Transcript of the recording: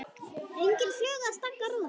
Engin fluga að stanga rúðuna.